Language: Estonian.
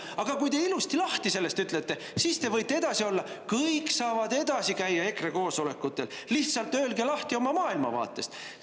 Aga kui te sellest ilusti lahti ütlete, siis võite edasi olla, kõik saavad edasi käia EKRE koosolekutel, lihtsalt öelge lahti oma maailmavaatest.